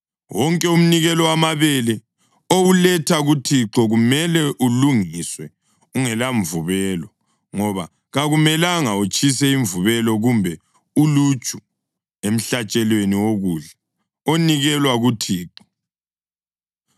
Wonke umnikelo wamabele owuletha kuThixo kumele ulungiswe ungelamvubelo, ngoba kakumelanga utshise imvubelo kumbe uluju emhlatshelweni wokudla onikelwa kuThixo.